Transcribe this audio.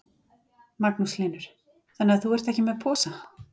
Magnús Hlynur: Þannig að þú ert ekki með posa?